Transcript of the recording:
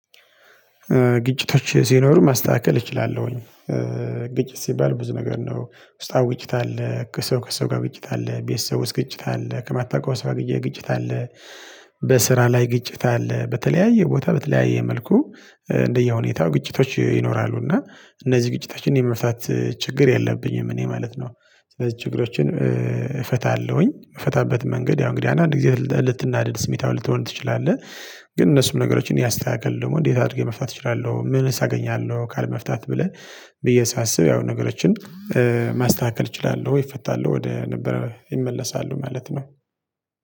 ግጭቶች ሲኖሩ ማስተካከል እችላለሁኝ። ግጭት ሲባል ብዙ ነገር ነው ውስጣዊ ግጭት አለ ከሰው ከሰው ጋር ግጭት አለ ቤተሰብ ውስጥ ግጭት አለ ከማታውቀው ሰው ግጭት አለ። በስራ ላይ ግጭት አለ በተለያየ ቦታ በተለያየ መልኩ እንደየሁኔታው ግጭቶች ይኖራሉ እና እነዚህ ግጭታችን የመፍታት ችግር የለብኝም እኔ ማለት ነው። ስለዚህ ችግሮችን እፈታለሁኝ የምንፋታበት መንገድ ያው እንግዲህ አንድ ጊዜ ልትናድድ ስሜታዊ ልትሆን ትችላለህ። ግን እነሱም ነገሮችን እኔ አስተካክል ደግሞ እንዴት አድርጌ መፋታት እችላለሁ ምንስ አገኛለሁ ካለመፍታት ብለህ። ብዬ ሳስብ ያው ነገሮችን ማስተካከል እችላለሁ ይፈታሉ ወደ ነበረ ይመለሳሉ ማለት ነው።